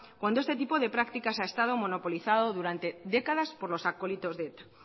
cuando este tipo de prácticas ha estado monopolizado durante décadas por los acólitos de eta